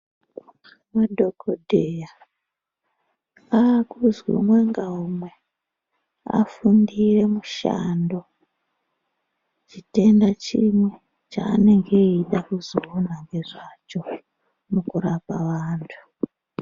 Madhogodheya aakuzwi umwe ngaumwe afundire mushando chitenda chimwe chaanenge eiida kuzoona nezvacho mukurapa vantu.